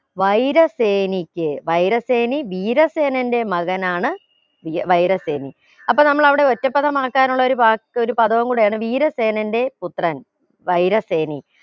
വൈര സേനിക്ക് വൈര സേനി ധീരസേനന്റെ മകനാണ് വി വൈര സേനി അപ്പൊ നമ്മൾ അവിടെ ഒറ്റപ്പദമാക്കാനുള്ള ഒരു വാക്ക് ഒരു പദവും കൂടെയാണ് വീര സേനന്റെ പുത്രൻ വൈര സേനി